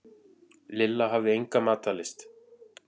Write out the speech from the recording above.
Lilla hafði enga matarlyst.